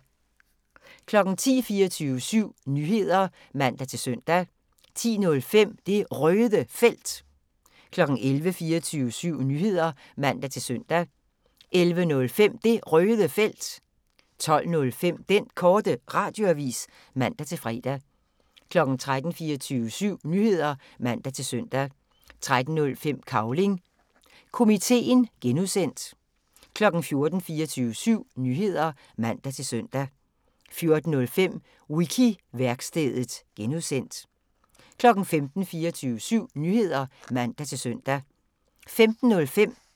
10:00: 24syv Nyheder (man-søn) 10:05: Det Røde Felt 11:00: 24syv Nyheder (man-søn) 11:05: Det Røde Felt 12:05: Den Korte Radioavis (man-fre) 13:00: 24syv Nyheder (man-søn) 13:05: Cavling Komiteen (G) 14:00: 24syv Nyheder (man-søn) 14:05: Wiki-værkstedet (G) 15:00: 24syv Nyheder (man-søn)